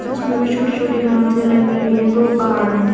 जिसमें भी छोटी छोटी घासे लगी हुई हैं दो पहाड़ हैं।